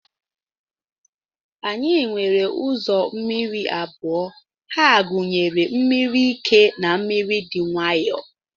Anyi nwere uzọ mmiri abụọ, ha gunyere mmiri ike na mmiri di nwayo.